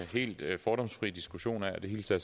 helt fordomsfri diskussion af og det hilser